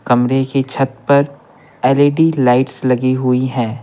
कमरे की छत पर एल_ई_डी लाइट्स लगी हुई हैं।